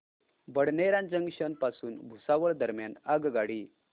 Badnera junction पासून भुसावळ दरम्यान आगगाडी